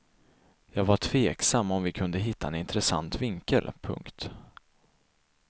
Jag var tveksam om vi kunde hitta en intressant vinkel. punkt